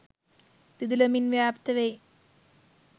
දිදුලමින් ව්‍යාප්ත වෙයි.